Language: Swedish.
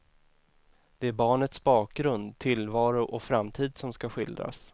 Det är barnets bakgrund, tillvaro och framtid som ska skildras.